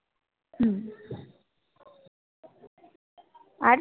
আর